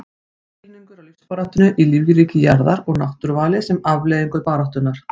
Skilningur á lífsbaráttunni í lífríki jarðar og náttúruvali sem afleiðingu baráttunnar.